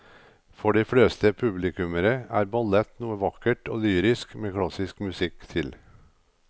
For de fleste publikummere er ballett noe vakkert og lyrisk med klassisk musikk til.